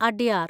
Adyar